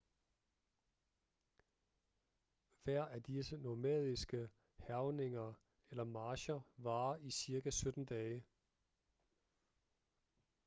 hver af disse nomadiske hærgninger eller marcher varer i cirka 17 dage